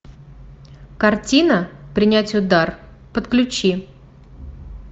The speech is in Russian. картина принять удар подключи